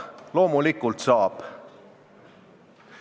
Loomulikult saab.